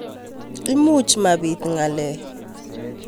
Imuch mapit ngalek